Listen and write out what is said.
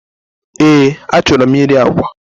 Eé, achọrọ m iri agwa.